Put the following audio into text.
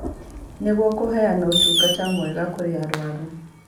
Nĩguo kũheana ũtungata mwega kũrĩ arũaru